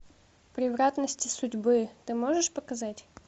превратности судьбы ты можешь показать